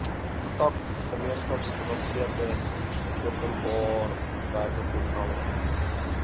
tak gemeenskapsgebaseerde openbarewerkeprogramme